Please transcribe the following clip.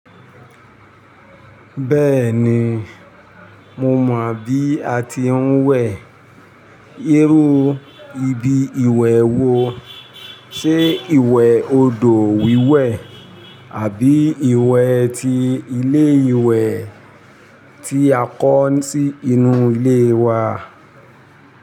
Bẹ́ẹ̀ni, mo mọ̀ bí a ti ń wẹ̀. Irú ibi ìwẹ̀ wo, ṣe ìwẹ̀ odò wíwẹ̀ àbí ìwẹ̀ tí ilé ìwẹ̀ tí a kọ́ sí inú ilé wa?